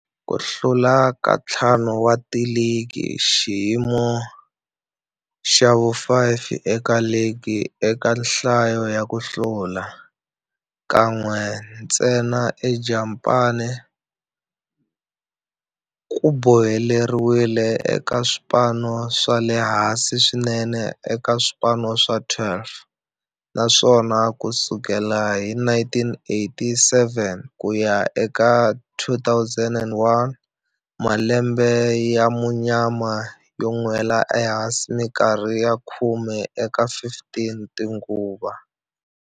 Ku hlula ka ntlhanu wa ligi, xiyimo xa vu-5 eka ligi eka nhlayo ya ku hlula, kan'we ntsena eJapani, ku boheleriwile eka swipano swa le hansi swinene eka swipano swa 12, naswona ku sukela hi 1987 ku ya eka 2001, malembe ya munyama yo nwela ehansi minkarhi ya khume eka 15 tinguva.